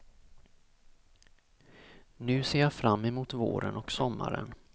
Nu ser jag fram emot våren och sommaren.